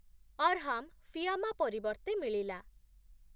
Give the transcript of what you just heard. ଅର୍‌ହାମ୍‌ ଫିଆମା ପରିବର୍ତ୍ତେ ମିଳିଲା ।